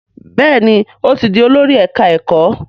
Béèni o tí dì Olórí ẹka ẹkọ.